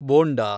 bonda